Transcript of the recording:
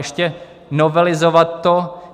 Ještě novelizovat to...